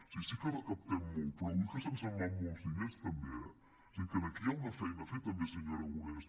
sí sí que recaptem molt però ull que se’ns en van molts diners també eh o sigui que aquí hi ha una feina a fer senyor aragonès